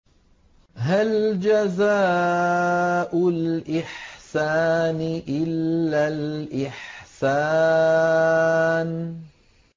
هَلْ جَزَاءُ الْإِحْسَانِ إِلَّا الْإِحْسَانُ